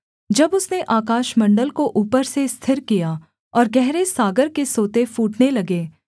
जब उसने आकाशमण्डल को ऊपर से स्थिर किया और गहरे सागर के सोते फूटने लगे